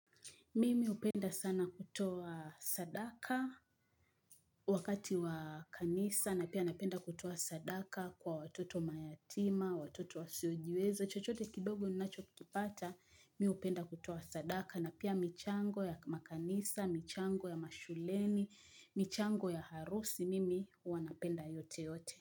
Mimi hupenda sana kutoa sadaka wakati wa kanisa na pia napenda kutoa sadaka kwa watoto mayatima, watoto wasiojiwezo. Chochote kidogo ninachokikipata, mi hupenda kutoa sadaka na pia michango ya makanisa, michango ya mashuleni, michango ya harusi mimi wanapenda yote yote.